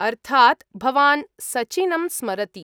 अर्थात्, भवान् सचिनं स्मरति।